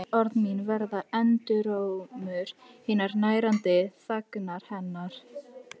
Öll orð mín verða endurómur hinnar nærandi þagnar hennar.